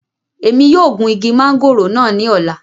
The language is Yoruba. Emi yoo gun igi mangoro naa ni ọla